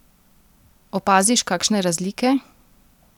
Opaziš kakšne razlike?